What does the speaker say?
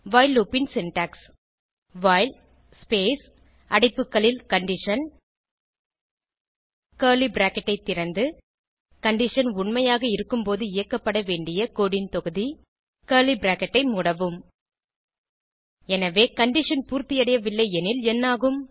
while loop ன் syntax while space அடைப்புகளில் condition curly bracket ஐ திறந்து கண்டிஷன் உண்மையாக இருக்கும்போது இயக்கப்பட வேண்டிய கோடு ன் தொகுதி கர்லி பிராக்கெட் ஐ மூடவும் எனவே கண்டிஷன் பூர்த்தியடையவில்லை எனில் என்னாகும்